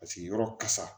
Paseke yɔrɔ kasa